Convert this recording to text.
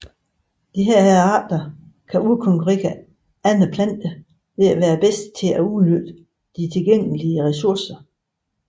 Disse arter kan udkonkurere andre planter ved at være bedst til at udnytte de tilgængelige ressourcer